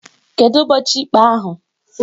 Kedu ụbọchị ikpe ahụ?